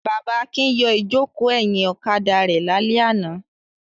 Bàbá Akin yọ ìjókòó ẹ̀yìn ọ̀kadà rẹ̀ lálẹ́ àná.